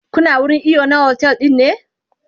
Kuna wurin iyo na otel ɗin ne?